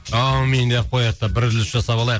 аумин деп қояйық та бір үзіліс жасап алайық